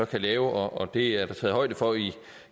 kan lave og det er der taget højde for